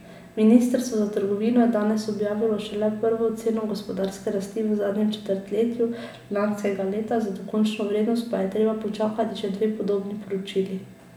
Ministrstvo za trgovino je danes objavilo šele prvo oceno gospodarske rasti v zadnjem četrtletju lanskega leta, za dokončno vrednost pa je treba počakati še dve podobni poročili.